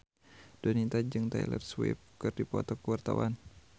Donita jeung Taylor Swift keur dipoto ku wartawan